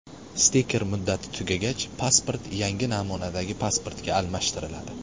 Stiker muddati tugagach, pasport yangi namunadagi pasportga almashtiriladi.